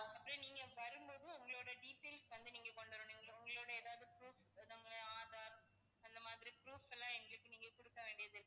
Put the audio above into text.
அப்பறம் நீங்க வரும்போது உங்களோட details வந்து நீங்க கொண்டு வரணும் உங்களோட ஏதாவது proof நம்ம aadhar அந்த மாதிரி proof எல்லாம் எங்களுக்கு நீங்க கொடுக்க வேண்டியதிருக்கும்.